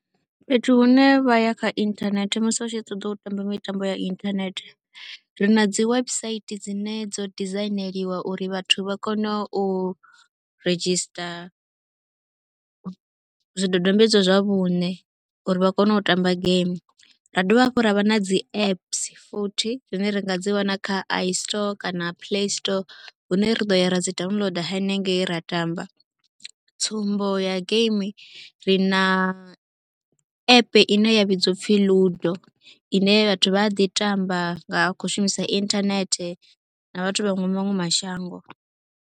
Fhethu hune vha ya kha inthanethe musi u tshi ṱoḓa u tamba mitambo ya inthanethe ri na dzi website dzine dzo dizaineliwa uri vhathu vha kone u redzhisiṱa zwidodombedzwa zwa vhuṋe uri vha kone u tamba geimi. Ra dovha hafhu ra vha na dzi apps futhi dzine ri nga dzi wana kha Istore kana Playstore hune ri ḓo ya ra dzi downloader hanengei ra tamba. Sa tsumbo ya geimi ri na app ine ya vhidziwa u pfi Ludo ine vhathu vha a ḓi tamba nga khou shumisa inthanethe na vhathu vha maṅwe mashango.